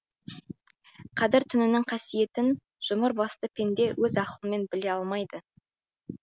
қадыр түнінің қасиетін жұмыр басты пенде өз ақылымен біле алмайды